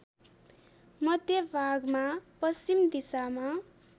मध्यभागमा पश्चिम दिशामा